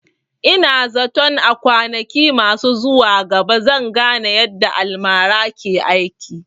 Ina zaton a kwanaki masu zuwa gaba zan gane yadda almara ke aiki